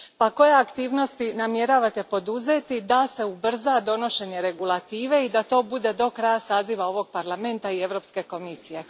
Koje aktivnosti namjeravate poduzeti da se ubrza donošenje regulative i da to bude do kraja saziva ovog Parlamenta i Europske komisije?